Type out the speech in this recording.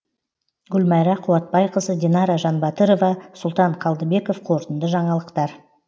гүлмайра қуатбайқызы динара жанбатырова сұлтан қалдыбеков қорытынды жаңалықтар